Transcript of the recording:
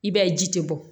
I b'a ye ji tɛ bɔ